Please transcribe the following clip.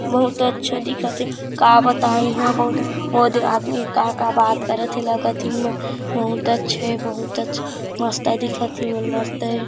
बहुत अच्छा दिखत हे का बताओ इहाँ बहुत ओदे आदमी ह का का बात करत हे लागत हे ईही मन बहुत अच्छा हे बहुत अच्छा मस्त दिखत हे ए मन मस्त हे।